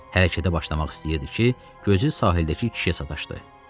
Hərəkətə başlamaq istəyirdi ki, gözü sahildəki kişiyə sataşdı.